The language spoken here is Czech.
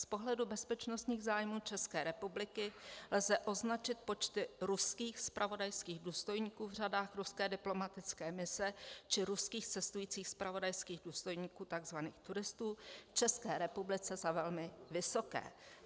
Z pohledu bezpečnostních zájmů České republiky lze označit počty ruských zpravodajských důstojníků v řadách ruské diplomatické mise či ruských cestujících zpravodajských důstojníků, tzv. turistů, v České republice za velmi vysoké.